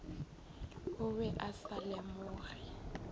o be a sa lemoge